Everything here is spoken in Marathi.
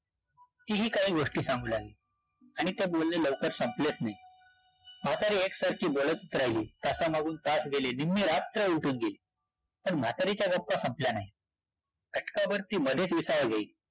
की ही काय गोष्ट संपणार? आणि बोलणे लवकर संपलच नाही, म्हातारी एकसारखी बोलतचं राहिली, तासामागून तास गेले, निम्मी रात्र उलटून गेली, पण म्हातारीच्या गप्पा संपल्या नाहीत, घटकाभर ती